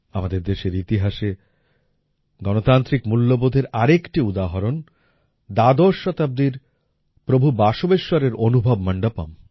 আমাদের দেশের ইতিহাসে গণতান্ত্রিক মূল্যবোধের আরেকটি উদাহরণ দ্বাদশ শতাব্দীর প্রভু বাসবেশ্বরের অনুভব মন্ডপম